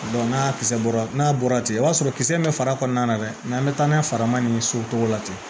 n'a kisɛ bɔra n'a bɔra ten i b'a sɔrɔ kisɛ bɛ fara kɔnɔna na dɛ n'an bɛ taa n'a ye farama nin so cogo la ten